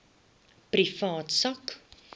privaat sak